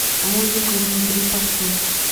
музыка внутри поставь